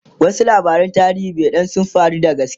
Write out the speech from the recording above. wasu labaran tarihi be Dan sun faru da gaske